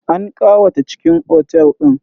An ƙawata cikin otel din.